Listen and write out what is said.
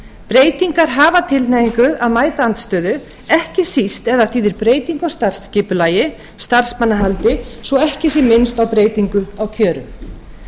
breytingar hafa tilhneigingu til að mæta andstöðu ekki síst ef þær þýða breytingu á starfsskipulagi starfsmannahaldi svo ekki sé minnst á breytingu á kjörum